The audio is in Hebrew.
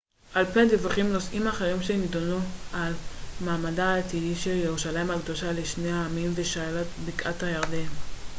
על פי הדיווחים נושאים אחרים שנדונו הם מעמדה העתידי של ירושלים הקדושה לשני העמים ושאלת בקעת הירדן